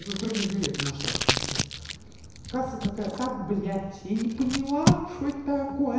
ну с другим билетом ушла в смысле касса такая так блять я не поняла что это такое